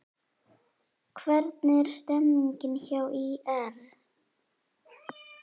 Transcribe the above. Hvernig er stemningin hjá ÍR?